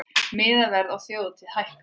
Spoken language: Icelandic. Miðaverð á þjóðhátíð hækkar